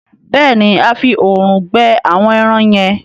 béèni a fí òòrùn gbẹ àwọn èràn yen.